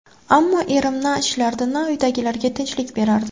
Ammo erim... Na ishlardi, na uydagilarga tinchlik berardi.